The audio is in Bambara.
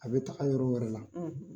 A bɛ taga yɔrɔ wɛrɛ la,